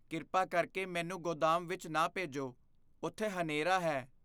ਕਿਰਪਾ ਕਰਕੇ ਮੈਨੂੰ ਗੋਦਾਮ ਵਿੱਚ ਨਾ ਭੇਜੋ। ਉਥੇ ਹਨੇਰਾ ਹੈ।